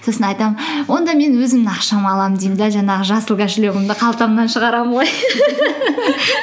сосын айтамын онда мен өзімнің ақшама аламын деймін де жаңағы жасыл кошелегімді қалтамнан шығарамын ғой